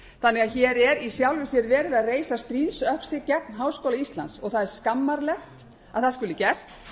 þannig að hér er í sjálfu sér verið að reisa stríðsöxi gegn háskóla íslands það er skammarlegt að það skuli gert